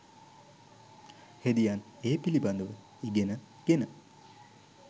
හෙදියන් ඒ පිළිබඳව ඉගෙන ගෙන